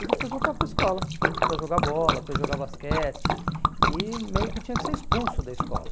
e depois voltava para a escola para jogar bola, para jogar basquete e meio que tinha que ser expulso da escola.